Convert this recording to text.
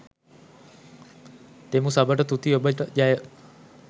දෙමු සබට තුති ඔබට ජය